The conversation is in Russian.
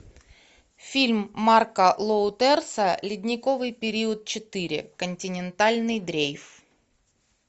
фильм марка лоутерса ледниковый период четыре континентальный дрейф